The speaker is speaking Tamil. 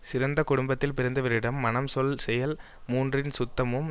சிறந்த குடும்பத்தில் பிறந்தவரிடம் மனம் சொல் செயல் மூன்றின் சுத்தமும்